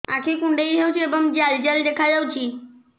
ଆଖି କୁଣ୍ଡେଇ ହେଉଛି ଏବଂ ଜାଲ ଜାଲ ଦେଖାଯାଉଛି